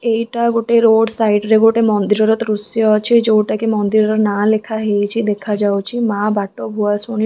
ଏଇଟା ଗୋଟେ road side ରେ ଗୋଟେ ମନ୍ଦିରର ଦୃଶ୍ୟ ଅଛି ଯୋଉଟା କି ମନ୍ଦିରର ନାଆ ଲେଖାହେଇଚି ଦେଖାଯାଉଛି ମାଆ ବାଟ ଭୂଆସୁଣି --